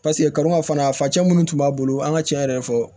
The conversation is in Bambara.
paseke kaliman fana facɛ munnu tun b'a bolo an ŋa tiɲɛ yɛrɛ fɔ